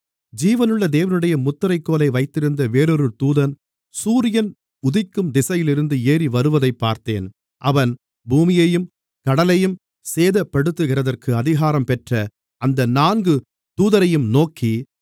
ஜீவனுள்ள தேவனுடைய முத்திரைக்கோலை வைத்திருந்த வேறொரு தூதன் சூரியன் உதிக்கும் திசையிலிருந்து ஏறிவருவதைப் பார்த்தேன் அவன் பூமியையும் கடலையும் சேதப்படுத்துகிறதற்கு அதிகாரம் பெற்ற அந்த நான்கு தூதரையும் நோக்கி